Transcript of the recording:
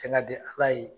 Fɛn ka di ala ye